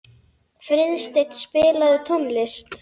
Friðsteinn, spilaðu tónlist.